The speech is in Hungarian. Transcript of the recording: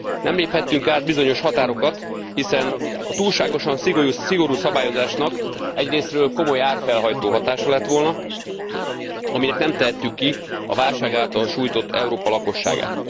Nem léphettünk át bizonyos határokat, hiszen a túlságosan szigorú szabályozásnak egyrészről komoly árfelhajtó hatása lett volna, aminek nem tehettük ki a válság által sújtott Európa lakosságát.